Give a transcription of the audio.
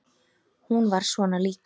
Hún var svona líka.